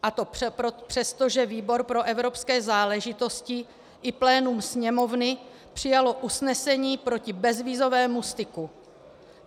A to přesto, že výbor pro evropské záležitosti i plénum Sněmovny přijalo usnesení proti bezvízovému styku.